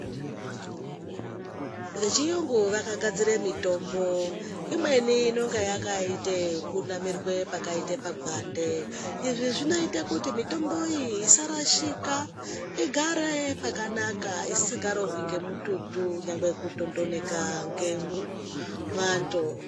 Vechiyungu vakagadzire mitombo, imweni inonga yakaite ekunamirwe pakaite pagwande. Izvi zvinoite kuti mitomboyi isarashika, igare pakanaka, isingarohwi ngemututu nyangwe kutondoneka ngemuu mwando.